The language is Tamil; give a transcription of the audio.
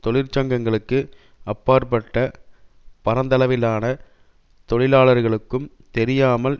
தொழிற்சங்கங்களுக்கு அப்பாற்பட்ட பரந்தளவிலான தொழிலாளர்களுக்கும் தெரியாமல்